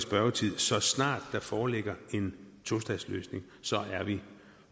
spørgetid så snart der foreligger en tostatsløsning så er vi